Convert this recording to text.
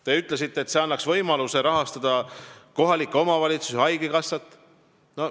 Te ütlesite, et see annaks võimaluse rahastada kohalikke omavalitsusi ja haigekassat.